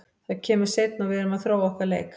Það kemur seinna og við erum að þróa okkar leik.